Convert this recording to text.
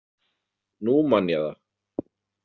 Nú man ég það.